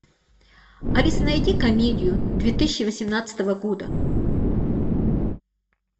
алиса найди комедию две тысячи восемнадцатого года